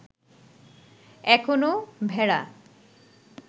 এখনও ভেড়া